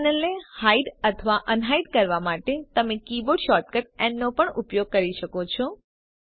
આ પેનલને હાઇડ અથવા અનહાઇડ કરવા માટે તમે કિબોર્ડ શોર્ટકટ ન નો પણ ઉપયોગ કરી શકો છો